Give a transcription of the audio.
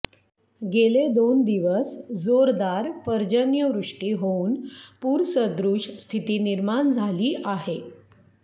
गेले दोन दिवस जोरदार पर्जन्यवृष्टी होऊन पूरसदृश स्थिती निर्माण झाली आहे